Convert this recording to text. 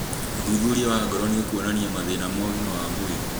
ũthuthuria wa ngoro nĩũkuonania mathĩna ma ũgima wa mwĩrĩ